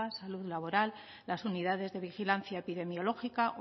salud laboral las unidades de vigilancia epidemiológica